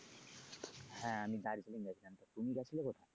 হ্যা আমি দার্জিলিং গেছিলাম তা তুমি গেছিলে কোথায়?